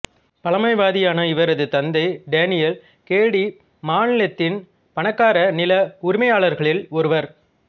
பழமைவாதியான இவரது தந்தை Daniel Cady மாநிலத்தின் பணக்கார நில உரிமையாளர்களில் ஒருவர்